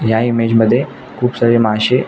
ह्या इमेज मध्ये खुप सारे माशे--